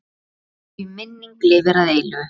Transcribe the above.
Þín minning lifir að eilífu.